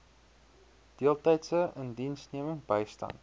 deeltydse indiensneming bystand